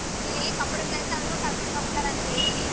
ಇಲ್ಲಿ computer class ಅವ್ರು ಕರ್ಕೊಂಡ್ ಹೋಗ್ತಾರಂತೆ ಇಲ್ಲಿ